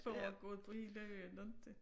Foregået på hele øen inte